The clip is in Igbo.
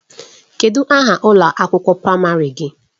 Kedụ aha ụlọ akwụkwọ praịmarị gị?